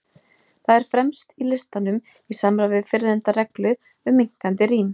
Það er fremst í listanum, í samræmi við fyrrnefnda reglu um minnkandi rím.